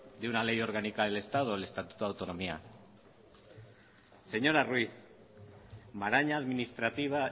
de una ley orgánica del estado del estatuto de autonomía señora ruiz maraña administrativa